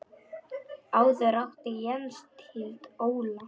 Áður átti Jens Tind Óla.